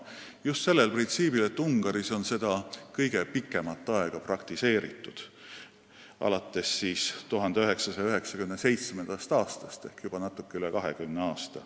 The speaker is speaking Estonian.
Just sellel printsiibil, et Ungaris on seda kõige pikemat aega praktiseeritud – alates 1997. aastast ehk juba natuke üle 20 aasta.